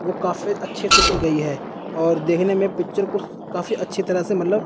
वो काफी अच्छे से की गई है और देखने में पिक्चर को काफी अच्छी तरह से मतलब--